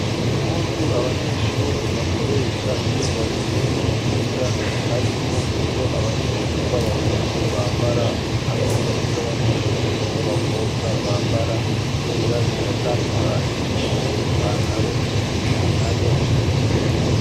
Impuzu abanyeshure bakoresha iyo bagiye kwiga, harimwo izo abanyeshuri b'abahungu bambara hamwe niz'abanyeshuri b'abakobwa bambara kubera ziratandukanye imwe n'ipantaro iyindi nayo n'ijipo.